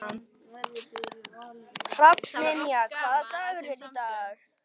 Hrafnynja, hvaða dagur er í dag?